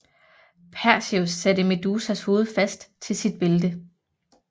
Perseus satte Medusas hoved fast til sit bælte